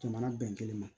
Jamana bɛn kelen ma